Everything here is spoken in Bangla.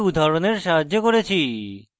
একটি উদাহরণের সাহায্যে করেছি